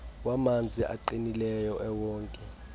wamanzi aqinileyo ewonke